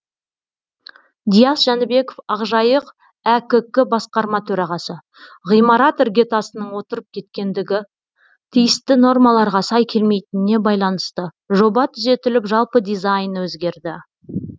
диас жәнібеков ақжайық әкк басқарма төрағасы ғимарат іргетасының отырып кеткендігі тиісті нормаларға сай келмейтініне байланысты жоба түзетіліп жалпы дизайны өзгерді